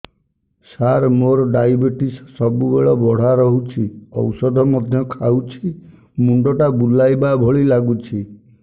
ସାର ମୋର ଡାଏବେଟିସ ସବୁବେଳ ବଢ଼ା ରହୁଛି ଔଷଧ ମଧ୍ୟ ଖାଉଛି ମୁଣ୍ଡ ଟା ବୁଲାଇବା ଭଳି ଲାଗୁଛି